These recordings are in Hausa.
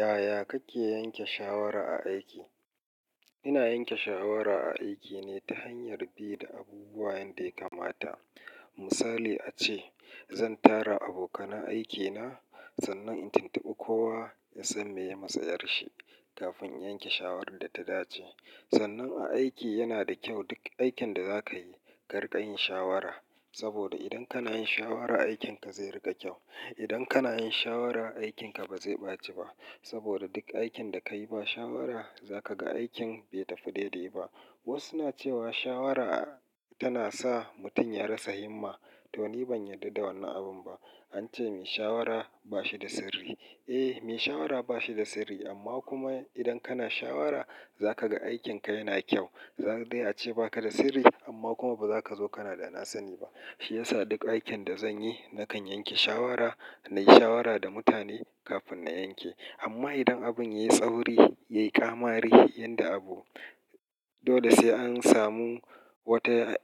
Yaya kake yanke shawara a aiki? Ina yanke shawara a aiki ne ta hanyar bi da abubuwa yanda ya kamata. Misali ace, zan tara abokanan aikina, sannan in tuntubi kowa ya san me ya matsa yarshi kafin in yanke shawarar da ta dace. Sannan a aiki yana da kyau duk aikin da za ka yi, kari ƙa yin shawara. Saboda idan kana yin shawara, aikinka zai riƙa kyau. Idan kana yin shawara, aikinka ba zai ɓaci ba. Saboda duk aikin da ka yi ba shawara, za ka ga aikin bai tafi daidai ba. Wasu na cewa shawara tana sa mutum ya rasa himma. To, ni ban yarda da wannan abun ba. An ce mai shawara ba shi da sirri. Eh, mai shawara ba shi da sirri, amma kuma idan kana shawara za ka ga aikinka yana kyau. Za dai a ce ba ka da sirri, amma kuma ba za ka zo kana da nasani ba. Shi ya sa duk aikin da zan yi, na kan yanke shawara, na yi shawara da mutane kafin na yanke. Amma idan abin ya yi tsauri, ya yi ƙamari yanda abu, dole sai an samu wata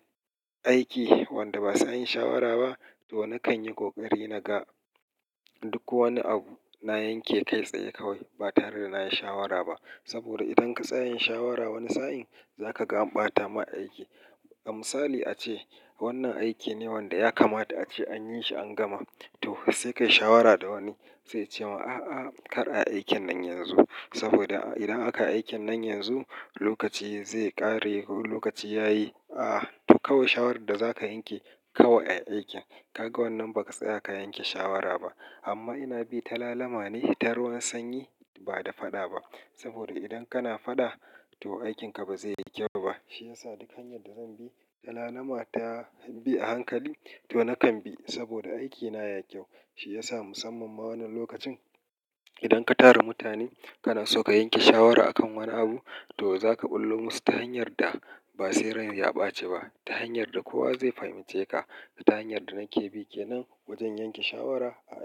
aiki wanda ba sai an yi shawara ba, to na kan yi ƙoƙari na ga duk wani abu na yanke kai tsaye kawai ba tare da na yi shawara ba. Saboda idan ka tsaya yin shawara wani sa'in, za ka ga an ɓata ma aiki. A misali ace wannan aiki ne wanda ya kamata ace an yi shi an gama. To sai ka yi shawara da wani, sai ya ce ma, "A'a, kar a aikin nan yanzu." Saboda idan aka aikin nan yanzu, lokaci zai ƙare ko lokaci ya yi. A'a, to kawai shawarar da za ka yanke, ka wa ya aikin. Kaga wannan ba ka tsaya ka yanke shawara ba. Amma ina bi ta lalama ne ta ruwan sanyi ba da faɗa ba. Saboda idan kana faɗa, to aikinka ba zai yi kyau ba. Shi ya sa duk hanyar da zan bi, ta lalama ta bi a hankali, to na kan bi saboda aikina ya yi kyau. Shi ya sa musamman ma wannan lokacin, idan ka tara mutane kana so ka yanke shawara a kan wani abu, to za ka ɓullo musu ta hanyar da ba sai rai ya ɓaci ba, ta hanyar da kowa zai fahimce ka, ta hanyar da nake bike nan wajen yanke shawara a aiki.